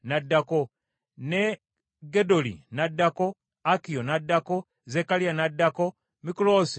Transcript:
ne Gedoli n’addako, Akiyo n’addako, Zekkaliya n’addako, Mikuloosi n’asembayo.